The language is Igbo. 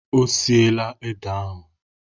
Ọ siela ede ahụ?